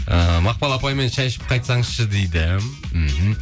ыыы мақпал апаймен шай ішіп қайтсаңызшы дейді мхм